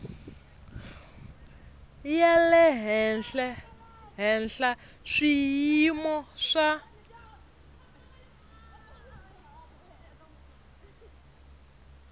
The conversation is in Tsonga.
ya le henhla swiyimo swa